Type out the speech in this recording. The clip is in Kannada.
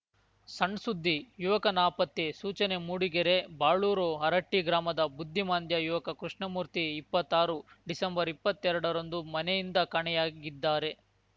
ಸಣ್‌ ಸುದ್ದಿ ಯುವಕ ನಾಪತ್ತೆ ಸೂಚನೆ ಮೂಡಿಗೆರೆ ಬಾಳೂರು ಹರಟ್ಟಿಗ್ರಾಮದ ಬುದ್ಧಿಮಾಂದ್ಯ ಯುವಕ ಕೃಪ್ಣಮೂರ್ತಿ ಇಪ್ಪತ್ತಾರು ಡಿಸೆಂಬರ್ಇಪ್ಪತ್ತೆರಡರಂದು ಮನೆಯಿಂದ ಕಾಣೆಯಾಗಿದ್ದಾರೆ